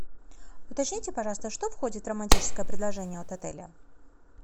уточните пожалуйста что входит в романтическое предложение от отеля